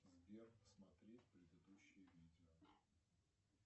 сбер смотреть предыдущее видео